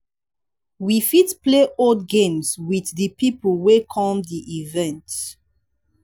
we fit play old games with di people wey come di event